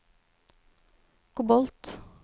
kobolt